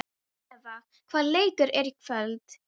Eva, hvaða leikir eru í kvöld?